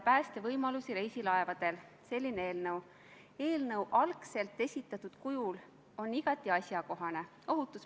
Hääletustulemused Poolt hääletas 54 Riigikogu liiget, vastuolijaid ja erapooletuid ei olnud.